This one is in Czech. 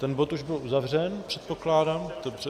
Ten bod už byl uzavřen, předpokládám.